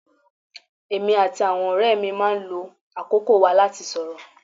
Èmi àti àwọn ọ̀rẹ́ mi máa ń lo àkókò wa láti sorọ́